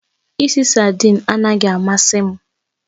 Ìsì saidin anaghị amasị m